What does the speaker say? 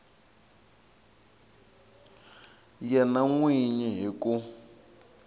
yena n wini hi ku